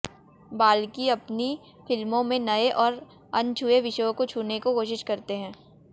बाल्की अपनी फिल्मों में नये और अनछुए विषयों को छूने को कोशिश करते हैं